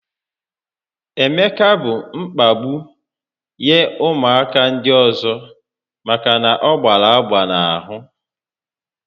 Emeka bụ mkpagbu nye ụmụaka ndị ọzọ maka na ọ gbara agba n'ahụ